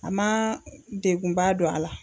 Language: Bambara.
A man degunba don a la.